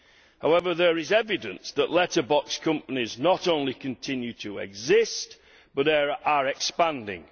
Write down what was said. However, there is evidence that letterbox companies not only continue to exist, but are expanding.